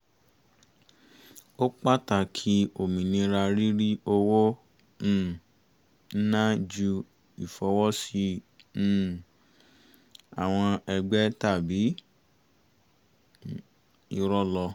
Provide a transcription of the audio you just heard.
ó pàtàkì òmìnira rírí owó um ná ju ìfọwọ́sí um àwọn ẹgbẹ́ tàbí irọ̀ lọ